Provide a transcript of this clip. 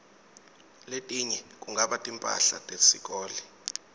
letinye kungaba timphahla tesikolo